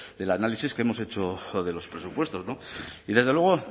del análisis que hemos hecho de los presupuestos y desde luego